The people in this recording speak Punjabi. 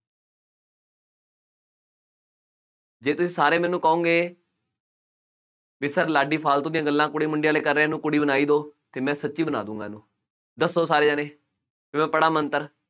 ਜੇ ਤੁਸੀਂ ਸਾਰੇ ਮੈਨੂੰ ਕਹੋਗੇ, ਬਈ sir ਲਾਡੀ ਫਾਲਤੂ ਦੀਆਂ ਗੱਲਾਂ, ਕੁੜੀ, ਮੁੰਡੇ ਵਾਲੀਆਂ ਕਰ ਰਿਹਾ, ਇਹਨੂੰ ਕੁੜੀ ਬਣਾ ਹੀ ਦਿਉ ਅਤੇ ਮੈਂ ਸੱਚੀ ਬਣਾ ਦੇ ਦੇਊਗਾ, ਦੱਸੋ ਸਾਰੇ ਜਣੇ, ਫੇਰ ਮੈਂ ਪੜ੍ਹਾ ਮੰਤਰ,